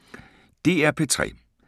DR P3